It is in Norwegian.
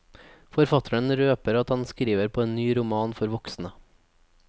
Forfatteren røper at han skriver på en ny roman for voksne.